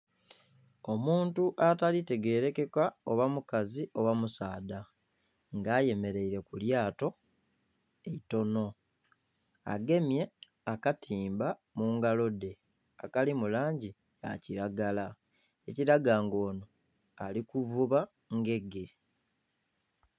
Omuntu atalikutegerekeka oba mukazi oba musaadha nga ayemereire kulyato eitono agemye akatimba mungalo dhe akali mulangi eya kiragala ekiraga nga ono ali kuvuba ngege.